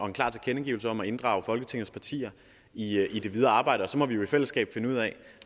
en klar tilkendegivelse om at inddrage alle folketingets partier i det videre arbejde så må vi jo i fællesskab finde ud af